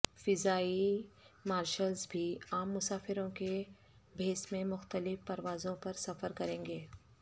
فضائی مارشلز بھی عام مسافروں کے بھیس میں مختلف پروازوں پر سفر کریں گے